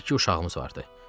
İki uşağımız vardı.